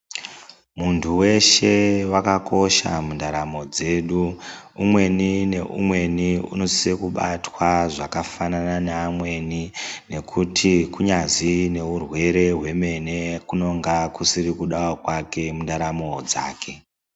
Muntu veshe vakakosha mundaramo dzedu umweni neumweni unosisa kubatwa zvakafanana neamweni. Nekuti kunyazi neurwere hwemene kunonga kusiri kudavo kwake mundaramo dzake.